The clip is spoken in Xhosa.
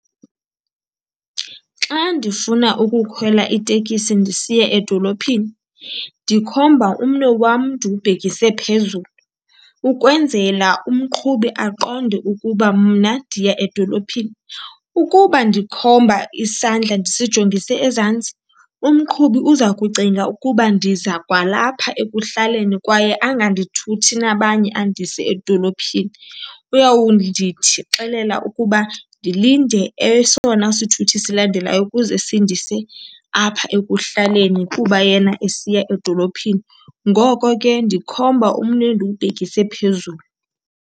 Xa ndifuna ukukhwela itekisi ndisiya edolophini ndikhomba umnwe wam ndiwubhekise phezulu, ukwenzela umqhubi aqonde ukuba mna ndiya edolophini. Ukuba ndikhomba isandla ndisingijongise ezantsi umqhubi uza kucinga ukuba ndiza kwalapha ekuhlaleni kwaye angandithuthi nabanye andise edolophini. Uyawundithi xelela ukuba ndilinde esona sithuthi silandelayo ukuze sindise apha ekuhlaleni kuba yena esiya edolophini. Ngoko ke ndikhomba umnwe ndiwubhekise ephezulu.